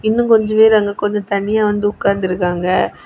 இன்னும் கொஞ்ச பேர் அங்க கொஞ்ச தனியா வந்து உட்கார்ந்து இருக்காங்க.